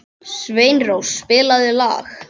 Sveinrós, spilaðu lag.